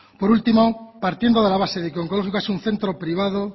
por último partiendo de la base de que onkologikoa es un centro privado